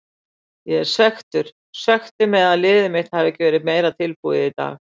Ég er svekktur, svekktur með að liðið mitt hafi ekki verið meira tilbúið í dag.